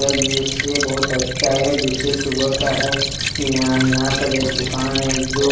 और दृश्य बहुत अच्छा है दृश्य सुबह का है यहां यहां पर एक दुकान है जो।